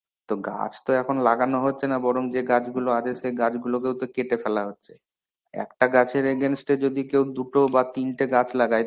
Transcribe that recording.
তো গাছ তো এখন লাগানো হচ্ছে না বরং যে গাছ গুলো আছে সে গাছগুলোকেও তো কেটে ফেলা হচ্ছে. একটা গাছের against এ যদি কেউ দুটো বা তিনটে গাছ লাগায়